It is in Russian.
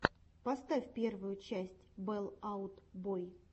поставь первую часть фэл аут бой